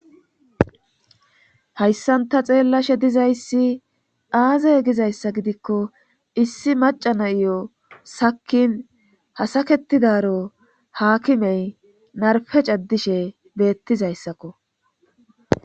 Hhayssanta xeellashe dizayssi aazey gizayssa gidikko issi maca nayiyo sakin hasaketidaro haakimey narfe cadishe beettizayssakko.